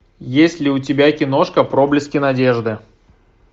есть ли у тебя киношка проблески надежды